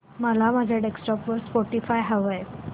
मला माझ्या डेस्कटॉप वर स्पॉटीफाय हवंय